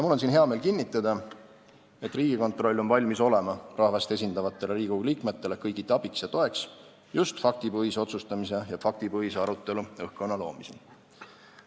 Mul on siin hea meel kinnitada, et Riigikontroll on valmis olema rahvast esindavatele Riigikogu liikmetele kõigiti abiks ja toeks just faktipõhise otsustamise ja faktipõhise arutelu õhkkonna loomisel.